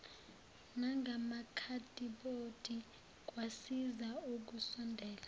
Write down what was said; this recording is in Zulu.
nangamakhadibhodi kwasiza ukusondela